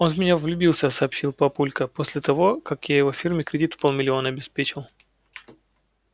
он в меня влюбился сообщил папулька после того как я его фирме кредит в полмиллиона обеспечил